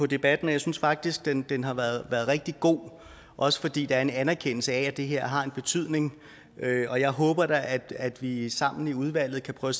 debatten og jeg synes faktisk den den har været rigtig god også fordi der er en anerkendelse af at det her har en betydning og jeg håber da at vi sammen i udvalget kan prøve